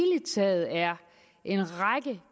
taget en række